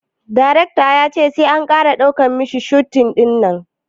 Darecta ya ce sai an kara daukan masta shot dinnan